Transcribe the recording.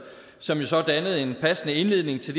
som så dannede en passende indledning til